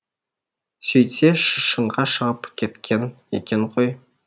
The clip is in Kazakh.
сөйтсе шыңға шығып кеткен екен ғой